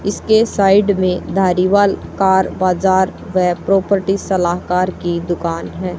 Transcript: इसके साइड में Dhariwal car बाजार व प्रोपर्टी सलाहकार की दुकान है।